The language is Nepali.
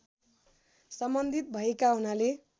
सम्बन्धित भएका हुनाले